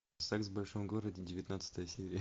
секс в большом городе девятнадцатая серия